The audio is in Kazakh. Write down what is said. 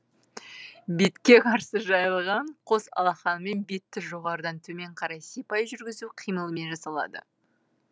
бетке қарсы жайылған қос алақанымен бетті жоғарыдан төмен қарай сипай жүргізу қимылымен жасалады